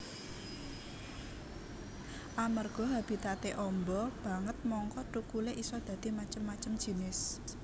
Amerga habitaté amba banget mangka thukulé isa dadi macem macem jinis